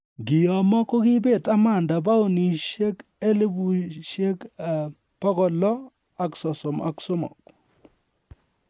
Nkiyomo kogibet Amanda paunishek 633,000